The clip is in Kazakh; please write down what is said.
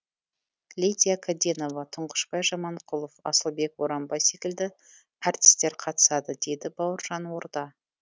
лидия кәденова тұңғышбай жаманқұлов асылбек боранбай секілді әртістер қатысады дейді бауыржан орда